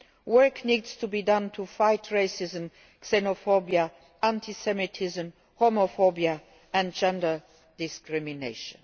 Work needs to be done to fight racism, xenophobia, anti Semitism, homophobia and gender discrimination.